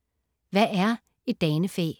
Hvad er et danefæ?